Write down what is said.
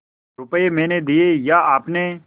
रुपये मैंने दिये या आपने